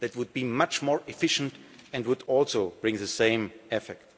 That would be much more efficient and would also bring the same effect.